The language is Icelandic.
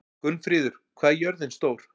Gunnfríður, hvað er jörðin stór?